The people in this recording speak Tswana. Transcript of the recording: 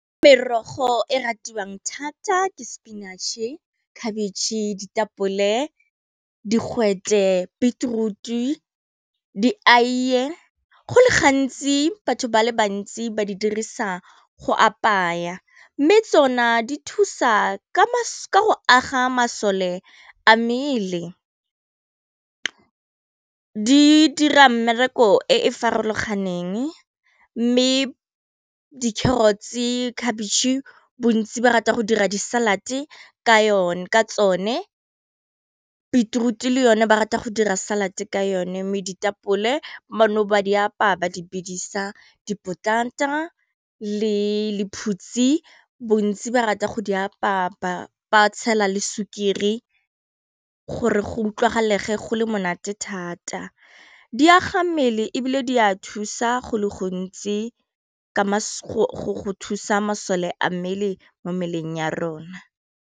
Merogo e ratiwang thata ke spinach-e, khabitšhe, ditapole, digwete, beetroot, di-aiye, go le gantsi batho ba le bantsi ba di dirisa go apaya mme tsona di thusa ka go aga masole a mmele, di dira mmereko e e farologaneng mme di carrots-e, khabitšhe, bontsi ba rata go dira di salad-e ka tsone beetroot-e le yone ba rata go dira salad ka yone mme ditapole bano ba di apeya ba di bidisa, dipotata le lephutsi bontsi ba rata go di apaya ba tshela le sukiri gore go utlwagalege go le monate thata, di aga mmele e bile di a thusa go le gontsi ka go thusa masole a mmele mo mmeleng ya rona.